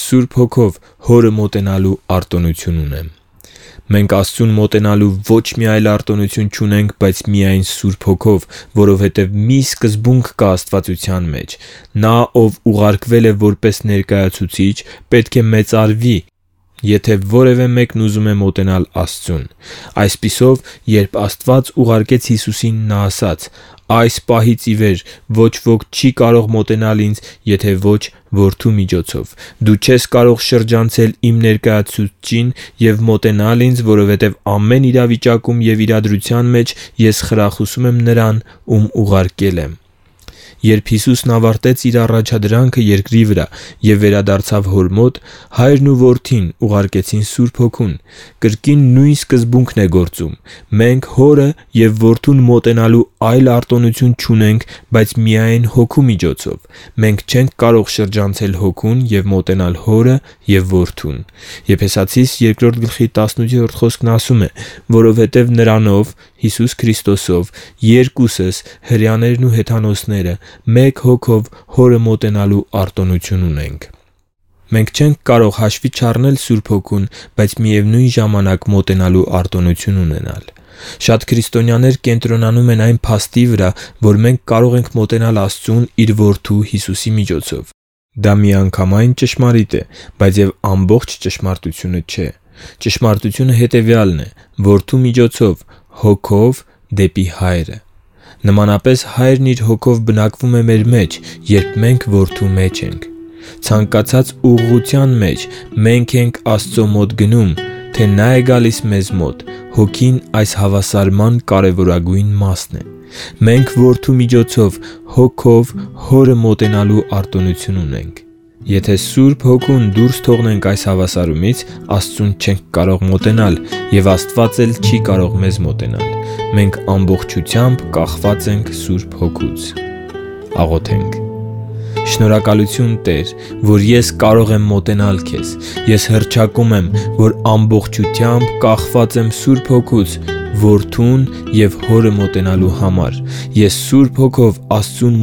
Սուրբ Հոգով Հորը մոտենալու արտոնություն ունեմ Մենք Աստծուն մոտենալու ոչ մի այլ արտոնություն չունենք, բայց միայն Սուրբ Հոգով, որովհետև մի սկզբունք կա աստվածության մեջ. նա, ով ուղարկվել է որպես ներկայացուցիչ, պետք է մեծարվի, եթե որևէ մեկն ուզում է մոտենալ աստվածությանը։ Այսպիսով, երբ Աստված ուղարկեց Հիսուսին, Նա ասաց. «Այս պահից ի վեր ոչ ոք չի կարող մոտենալ ինձ, եթե ոչ՝ Որդու միջոցով։ Դու չես կարող շրջանցել իմ ներկայացուցչին և մոտենալ ինձ, որովհետև ամեն մի իրավիճակում և իրադրության մեջ Ես խրախուսում եմ Նրան, ում ուղարկել եմ»։ Երբ Հիսուսն ավարտեց Իր առաջադրանքը երկրի վրա և վերադարձավ Հոր մոտ, Հայրն ու Որդին ուղարկեցին Սուրբ Հոգուն։ Կրկին նույն սկզբունքն է գործում։ Մենք Հորը և Որդուն մոտենալու այլ արտոնություն չունենք, բայց միայն Հոգու միջոցով։ Մենք չենք կարող շրջանցել Հոգուն և մոտենալ Հորը և Որդուն․ «Որովհետև նրանով (Հիսուս Քրիստոսով) երկուսս (հրեաներն ու հեթանոսները) մեկ Հոգով Հորը մոտենալու արտոնություն ունենք»։ Եփեսացիներին 2:18 Մենք չենք կարող հաշվի չառնել Սուրբ Հոգուն, բայց և մոտենալու արտոնություն ունենալ։ Շատ քրիստոնյաներ կենտրոնանում են այն փաստի վրա, որ մենք կարող ենք մոտենալ Աստծուն Իր Որդու՝ Հիսուսի միջոցով։ Դա միանգամայն ճշմարիտ է, բայց և ամբողջ ճշմարտությունը չէ։ Ճշմարտությունը հետևյալն է՝ Որդու միջոցով Հոգով դեպի Հայրը։ Նմանապես, Հայրն Իր Հոգով բնակվում է մեր մեջ, երբ մենք Որդու մեջ ենք։ Ցանկացած ուղղության մեջ՝ մենք ենք Աստծո մոտ գնում, թե Նա է գալիս մեզ մոտ, Հոգին այս հավասարման կարևորագույն մասն է։ Մենք Որդու միջոցով Հոգով Հորը մոտենալու արտոնություն ունենք։ Եթե Սուրբ Հոգուն դուրս թողնենք այս հավասարումից, Աստծուն չենք կարող մոտենալ, և Աստված էլ չի կարող մեզ մոտենալ։ Մենք ամբողջությամբ կախված ենք Սուրբ Հոգուց։ Շնորհակալությու՛ն, Տե՛ր, որ ես կարող եմ մոտենալ Քեզ։ Ես հռչակում եմ, որ ամբողջությամբ կախված եմ Սուրբ Հոգուց Որդուն և Հորը մոտենալու համար։ Ես Սուրբ Հոգով Աստծուն